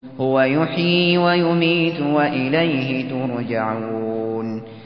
هُوَ يُحْيِي وَيُمِيتُ وَإِلَيْهِ تُرْجَعُونَ